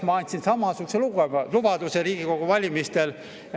Ma andsin samasuguse lubaduse Riigikogu valimistel.